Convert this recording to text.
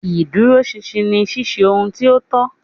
Iduroṣinṣin ni ṣiṣe ohun ti o tọ.